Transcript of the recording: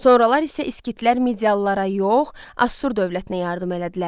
Sonralar isə skitlər medialılara yox, Assur dövlətinə yardım elədilər.